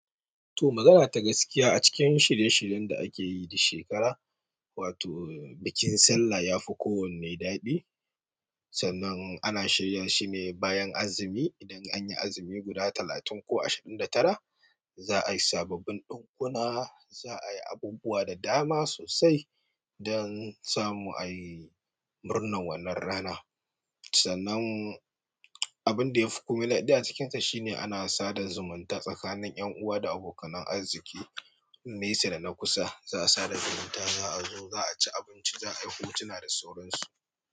To, magana ta gaskiya a cikin shirye-shiryen da ake yi duk shekara, wato bikin sallah ya fi kowanne daɗi. Sanan ana shirya shi ne bayan azumi. Idan an yi azumi guda talatin ko ashirin da tara, za a yi sababbin ɗunkuna, za a yi abubuwa da dama sosai don samu ayi murnar wannan rana. Sanan abun da ya fi ƙomila duk a cikinta shine ana sada zumunta tsakanin 'yan uwa da abokanan arziki, nesa da na kusa. Za a sada zumunta, za a zo, za a ci abinci, za a yi hotuna da surukansu.